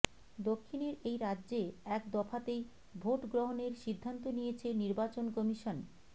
দক্ষিণের এই রাজ্যে এক দফাতেই ভোটগ্রহণের সিদ্ধান্ত নিয়েছে নির্বাচন কমিশন